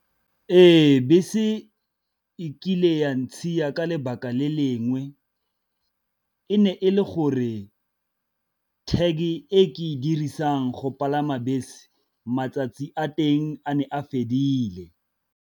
Ee bese e kile ya ntshiya ka lebaka le lengwe, e ne e le gore tag e ke e dirisang go palama bese matsatsi a teng a ne a fedile.